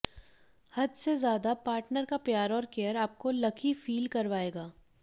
हद से ज्यादा पार्टनर का प्यार और केयर आपको लकी फील करवाएगा